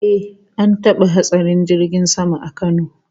Eh, an taba hatsarin jirgin sama a Kano